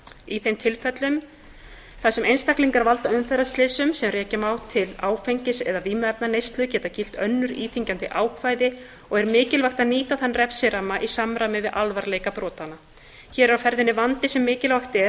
í þeim tilfellum þar sem einstaklingar valda umferðarslysum sem rekja má til áfengis eða vímuefnaneyslu geta gilt önnur íþyngjandi ákvæði og er mikilvægt að nýta þann refsiramma í samræmi við alvarleika brotanna hér er á ferðinni vandi sem mikilvægt er